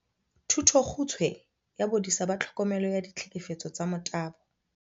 "Thutokgutshwe ya Bodisa ba Tlhokomelo ya Ditlhekefetso tsa Motabo."